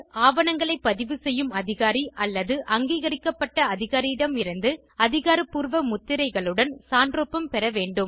ஆவணங்களை பதிவு செய்யும் அதிகாரி அல்லது அங்கீகரிக்கப்பட்ட அதிகாரியிடம் இருந்து அதிகாரப்பூர்வ முத்திரைகளுடன் சான்றொப்பம் பெற வேண்டும்